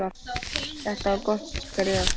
Þetta var gott skref.